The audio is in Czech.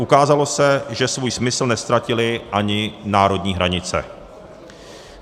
Ukázalo se, že svůj smysl neztratily ani národní hranice.